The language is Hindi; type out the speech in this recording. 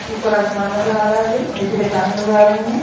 ऊपर आसमान नज़र आ रहा है नीचे चट्टाने नज़र आ रही है।